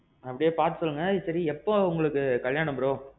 அப்படியே பாத்து சொல்லுங்க. சேரி, எப்போ உங்களுக்கு கல்யாணம் bro?